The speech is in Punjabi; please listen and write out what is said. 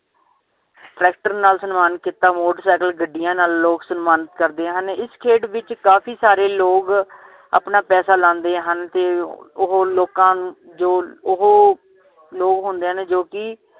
ਟ੍ਰੈਕਟਰ ਨਾਲ ਸਨਮਾਨਿਤ ਕੀਤਾ ਮੋਟਰਸਾਈਕਲ ਗੱਡੀਆਂ ਨਾਲ ਲੋਗ ਸਨਮਾਨਿਤ ਕਰਦੇ ਹਨ ਇਸ ਖੇਡ ਵਿਚ ਕਾਫੀ ਸਾਰੇ ਲੋਗ ਆਪਣਾ ਪੈਸਾ ਲਾਂਦੇ ਹਨ ਤੇ ਉਹ ਲੋਕਾਂ ਜੋ ਉਹ ਲੋਕ ਹੁੰਦੇ ਹਨ ਜੋ ਕਿ